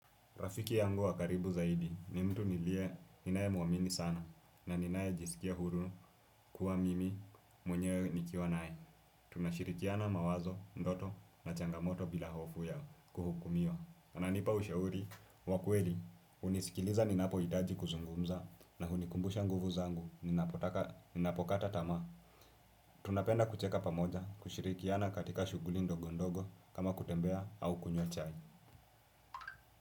Rafiki yangu wakaribu zaidi ni mtu nilie ninae muamini sana na ninae jisikia huru kuwa mimi mwenye nikiwa nae. Tunashirikiana mawazo, ndoto na changamoto bila hofu ya kuhukumiwa. Kana nipa ushauri, wakweli, unisikiliza ninapo itaji kuzungumza na hunikumbusha nguvu zangu ninapokata tama. Tunapenda kucheka pamoja kushirikiana katika shuguli ndogo ndogo kama kutembea au kunywa chai.